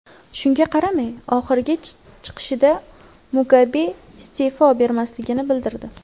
Shunga qaramay, oxirgi chiqishida Mugabe iste’fo bermasligini bildirdi .